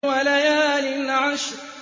وَلَيَالٍ عَشْرٍ